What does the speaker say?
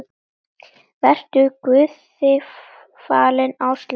Vertu Guði falin, Áslaug mín.